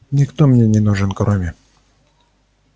никто мне не нужен кроме